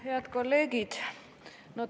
Head kolleegid!